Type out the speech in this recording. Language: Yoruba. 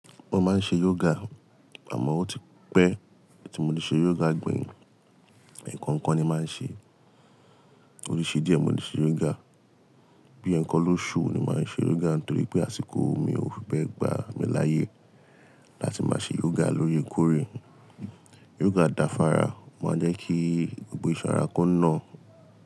Mo máa ń ṣe yoga, àmọ́ ó ti pẹ́ tí mo ti ṣe yoga gbẹ̀yìn. Ẹ̀ẹ̀kan kan ni màá ń ṣe. Oríṣi díẹ̀ mo ti ṣe yoga. Bí ẹn kọ́ ló ṣú ni màá ń ṣe yoga nítorí pé àsìkò mi ò fi bẹ gbà mí láyé láti máa ṣe yoga lórè kórè. Yoga dáfara, máa jẹ́ kí gbogbo ìṣọ́ra kan nà.